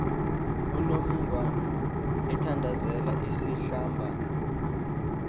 unongwan ethandazel isihlabane